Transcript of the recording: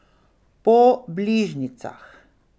Po bližnjicah.